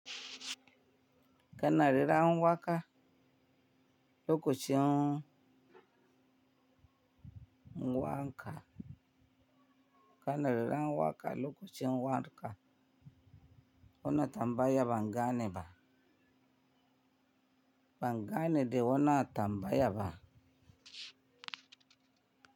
Kana reran waka, lokocin, kana rera ngwaka loko ci ngwanka. Wonna tambaya, bangane ba. Bangane de wonna, tambaya ba.